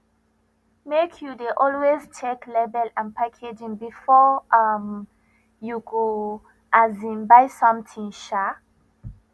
make you dey always check label and packaging before um you go um buy something um